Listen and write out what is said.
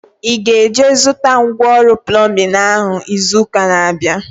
Ị ga-eje zụta ngwa ọrụ plọmbin ahu izu ụka na-abịa?